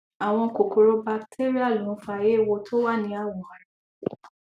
àwọn kòkòrò batéríà ló ń fa eéwo tó wà ní awọ ara